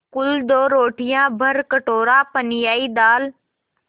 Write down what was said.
कुल दो रोटियाँ भरकटोरा पनियाई दाल